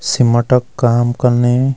सिमटा क काम कन्नी।